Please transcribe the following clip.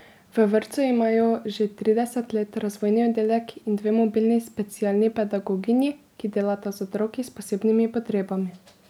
V vrtcu imajo že trideset let razvojni oddelek in dve mobilni specialni pedagoginji, ki delata z otroki s posebnimi potrebami.